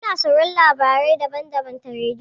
Mu na sauraron labarai daban-daban ta rediyo.